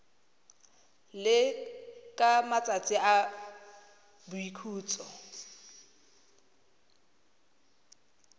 le ka matsatsi a boikhutso